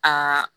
Aa